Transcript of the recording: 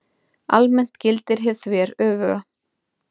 Almennt gildir hið þveröfuga.